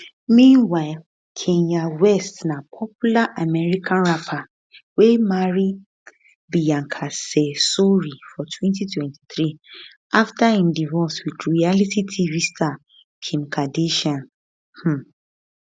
meanwhile kanye west na popular american um rapper wey marry bianca cesori for 2023 afta im divorce wit reality tv star kim kardashian um